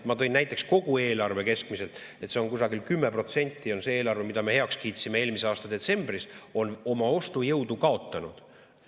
Ma tõin näiteks kogu eelarve keskmiselt, et kusagil 10% on see eelarve, mille me heaks kiitsime eelmise aasta detsembris, oma ostujõudu kaotanud.